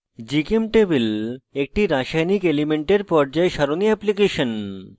gchemtable একটি রাসায়নিক elements পর্যায় সারণী এপ্লিকেশন